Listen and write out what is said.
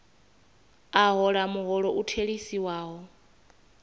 a hola muholo u theliswaho